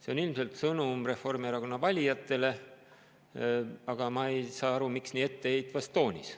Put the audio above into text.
See on ilmselt sõnum Reformierakonna valijatele, aga ma ei saa aru, miks nii etteheitvas toonis.